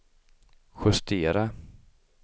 justera